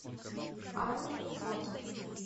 ами фото